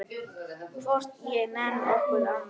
Hvorki ég né nokkur annar.